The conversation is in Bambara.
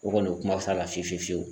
O kɔni o kuma f'a la fiyewu fiyewu fiyewu